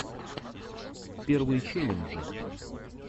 первые челленджи